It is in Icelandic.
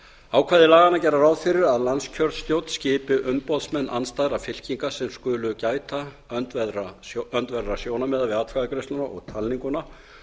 ákvæði laganna gera ráð fyrir að landskjörstjórn skipi umboðsmenn andstæðra fylkinga sem skulu gæta öndverðra sjónarmiða við atkvæðagreiðsluna og talninguna